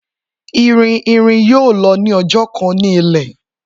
Irin irin yoo lọ ni ọjọ kan ni ilẹ.